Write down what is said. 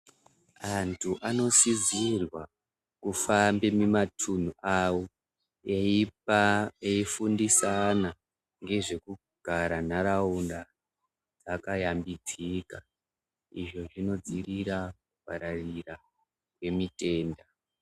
Antu anosizirwa kufambe mumatunhu awo eifundisana nezvekugara nharaunda akayambidzika izvi zvinodzivirira varaira yemutenda.